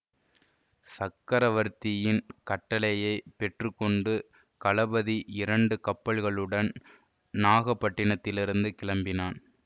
சக்கரவர்த்தியின் கட்டளையை பெற்று கொண்டு கலபதி இரண்டு கப்பல்களுடன் நாகப்பட்டினத்திலிருந்து கிளம்பினான்